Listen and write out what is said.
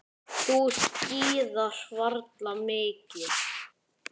Þú skíðar varla mikið.